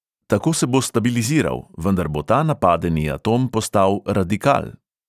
Tako se bo stabiliziral, vendar bo ta napadeni atom postal radikal.